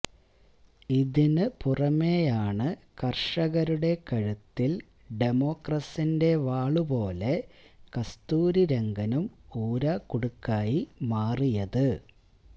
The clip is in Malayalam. ഇതിനു പുറമെയാണ് കര്ഷകരുടെ കഴുത്തില് ഡമോക്രസിന്റെ വാളുപോലെ കസ്തൂരിരംഗനും ഊരാക്കുടുക്കായി മാറിയത്